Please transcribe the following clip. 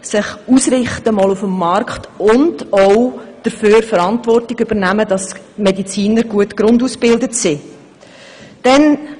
Sie muss sich auf dem Markt ausrichten und auch dafür Verantwortung übernehmen, dass die Mediziner eine gute Grundausbildung erhalten.